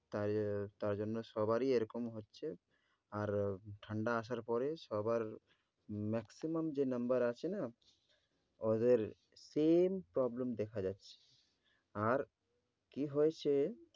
তাই আহ তাই জন্যে সবারই এরকম হচ্ছে। আর ঠাণ্ডা আসার পরে সবার maximum যে number আসে না ওদের same problem দেখা যাচ্ছে। আর কী হয়েছে